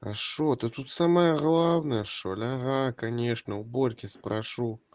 хорошо ты тут самое главное что ага конечно уборки спрошу